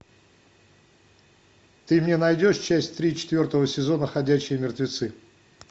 ты мне найдешь часть три четвертого сезона ходячие мертвецы